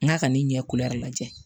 N k'a ka ne ɲɛ lajɛ